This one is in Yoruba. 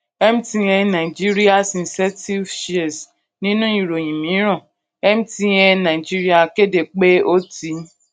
mtn nigerias incentive shares nínú ìròyìn mìíràn mtn nigeria kéde pé ó ti